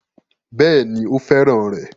Bẹ́ẹ̀ ni, ó fẹ́ràn rẹ̀